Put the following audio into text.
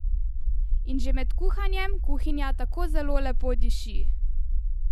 In že med kuhanjem kuhinja tako zelo lepo diši!